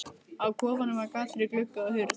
Á kofanum var gat fyrir glugga og hurð.